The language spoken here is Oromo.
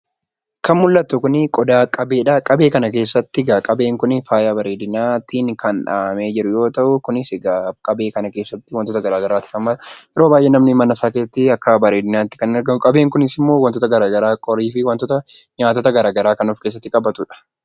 Kan mul'atu kun qodaa qabeedha. Qabee kana keessatti egaa faayaa bareedinaatiin kan dhahamee jiru yoo ta'u, kunis egaa qabee kana keessatti wantoota garaagaraatu kaa'ama. Qabee kana namoota baay'eetu mana isaa keessatti bareedinaatti ol kaa'u. Qabeen kunis immoo wantoota garaagaraa kan akka qorii kan of keessatti qabatudha.